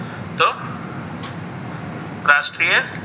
રાષ્ટ્રીય.